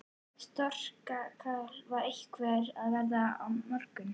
Þorkatla, hvernig er veðrið á morgun?